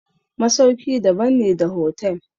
masauki daban ne da hotel.